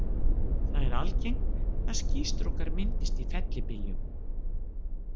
Það er algengt að skýstrókar myndist í fellibyljum.